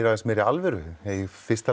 aðeins meiri alvöru í fyrsta